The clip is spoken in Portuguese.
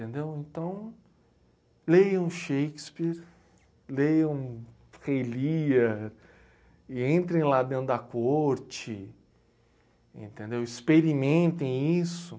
Entendeu? Então, leiam Shakespeare, leiam Rei Lear, e entrem lá dentro da corte, entendeu? Experimentem isso.